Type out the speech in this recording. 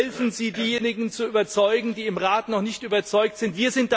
Helfen Sie, diejenigen zu überzeugen, die im Rat noch nicht überzeugt sind!